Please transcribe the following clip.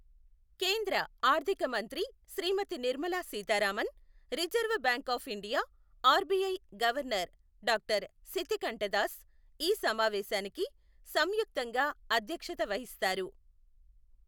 కేంద్ర ఆర్థిక మంత్రి శ్రీమతి Nirmala Sitharaman, reserve bank of India RBI governor doctor శితికంఠదాస్ ఈ సమావేశానికి సంయుక్తంగా అధ్యక్షత వహిస్తారు.